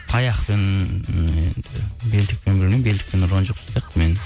таяқпен енді белдікпен білмеймін белдікпен ұрған жоқ сияқты мені